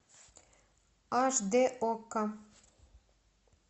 аш д окко